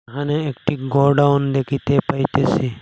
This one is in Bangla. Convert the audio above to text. এখানে একটি গোডাউন দেখিতে পাইতেছি।